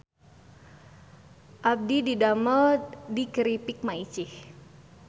Abdi didamel di Kripik Maicih